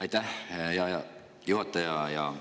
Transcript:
Aitäh, hea juhataja!